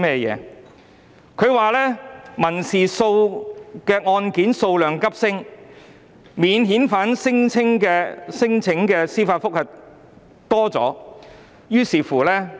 政府說道，民事案件數量急升，特別是有關免遣返聲請的司法覆核案件。